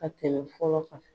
Ka tɛmɛ fɔlɔ kan.